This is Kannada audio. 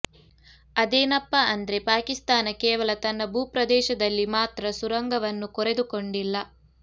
ಅದೇನಪ್ಪಾ ಅಂದ್ರೆ ಪಾಕಿಸ್ತಾನ ಕೇವಲ ತನ್ನ ಭೂಪ್ರದೇಶದಲ್ಲಿ ಮಾತ್ರ ಸುರಂಗವನ್ನು ಕೊರೆದುಕೊಂಡಿಲ್ಲ